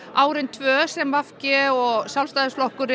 árin tvö sem v g Sjálfstæðisflokkur